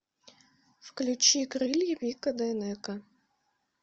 включи крылья вика дайнеко